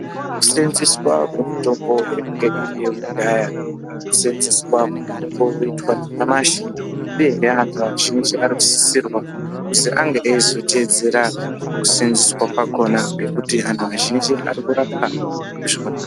...seenzeswa kwemitombo kwemitombo yange iriyo kudhaya kuseenzeswa kweiri kuitwa nanyamasi uyehe anhu azhinji anosisirwa kuzi ange eizoteedzera kuseenzeswa kwakona ngekuti anhu azhinji arikurapwa ndizvona.